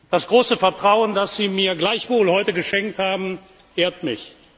Das große Vertrauen, das Sie mir gleichwohl heute geschenkt haben, ehrt mich.